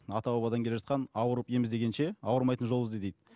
ата бабадан келе жатқан ауырып ем іздегенше ауырмайтын жол ізде дейді